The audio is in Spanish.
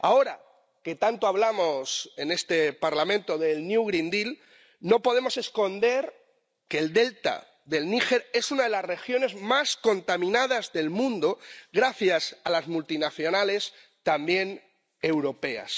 Ahora, que tanto hablamos en este Parlamento del Pacto Verde Europeo, no podemos esconder que el delta del Níger es una de las regiones más contaminadas del mundo gracias a las multinacionales, también europeas.